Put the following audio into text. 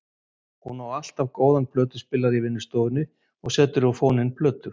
Hún á alltaf góðan plötuspilara í vinnustofunni og setur á fóninn plötur.